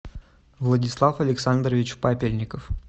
владислав александрович папельников